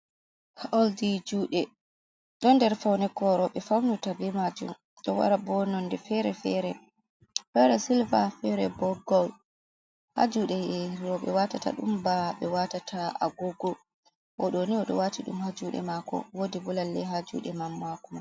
Oldi juuɗe. Ɗo nder kare faune ko rowɓe faunirta be majum, ɗo wara bo nonde fere-fere. Fere silva fere bo gol. Haa juuɗe rowɓe waatata ɗum ba ɓe waatata agogo. O ɗo ni, o ɗo waati ɗum haa juuɗe maako, woodi bo lalle haa juuɗe man maako.